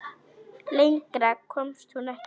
Lengra komst hún ekki.